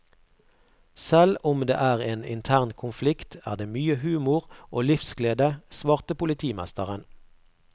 Selv om det er en intern konflikt, er det mye humor og livsglede, svarte politimesteren.